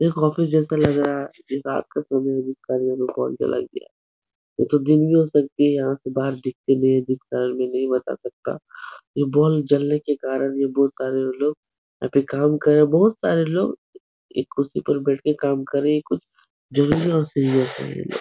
एक ऑफ़िस जैसा लग रहा है। यह रात का समय है जिस कारण कॉल चला गया। दिन भी हो सकती है यहाँ से बाहर दीखता नहीं है जिस कारण मैं नही बता सकता। ये बल्ब जलने के कारण ये बहुत सारे लोग या फिर काम कर बोहत सारे लोग एक कुर्सी पर बैठ के काम कर रहे है कुछ ज़रूरी एव सीरियस है।